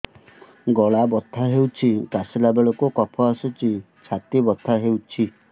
ଗଳା ବଥା ହେଊଛି କାଶିଲା ବେଳକୁ କଫ ଆସୁଛି ଛାତି ବଥା ହେଉଛି